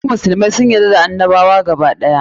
Duk musulmai sun yarda da annabawa gaba ɗaya.